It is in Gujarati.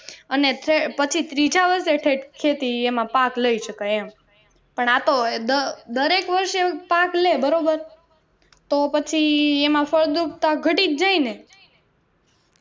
અને પછી ત્રીજા વર્ષે ઠેટ ખેતી એમાં પાક લઇ શકાય એમ દરેક વર્ષે પાક લે બરોબર તો પછી એમાં ફળદ્રુપતા ઘટીજ ગઈ ને